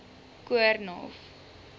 koornhof